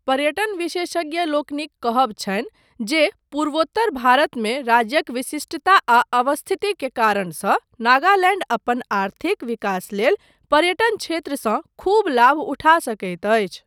पर्यटन विशेषज्ञलोकनिक कहब छनि जे पूर्वोत्तर भारतमे राज्यक विशिष्टता आ अवस्थिति के कारणसँ नागालैण्ड अपन आर्थिक विकास लेल पर्यटन क्षेत्रसँ खूब लाभ उठा सकैत अछि।